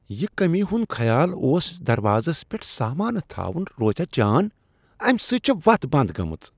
یہ کٔمی ہُنٛد خیال اوس دروازس پیٹھ سامانہٕ تھاون روزیاہ جان؟ امہ سۭتۍ چھےٚ وتھ بند گٔمٕژ۔